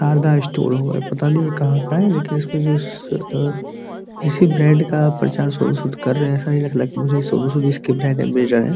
सारदा store हुआ है | ये पता नहीं ये कहा का है लेकिन इसमे जो उम् किसी ब्रांड का प्रचार सोनू सूद कर रहे हैं | ऐसा ही लग रहा है सोनू सूद इस के ब्रांड अम्बेस्डर हैं |